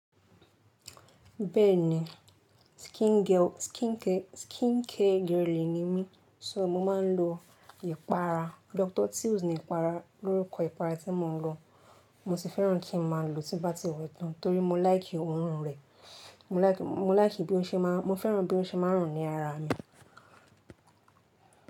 Bẹ́ẹ̀ni, skin girl, skincare, skincare girly ni mí. So, mo máa ń lo ìpara Dr. Teal's ni ìpara, lórukọ ìpara tí mo ń lò. Mo sì fẹ́ràn kí n máa lò tí bá ti wẹ tán torí mo like òórùn rẹ̀. Mo like, mo like bí ó ṣe máa ń, mo fẹ́ràn bí ó ṣe máa ń rùn ní ara mi.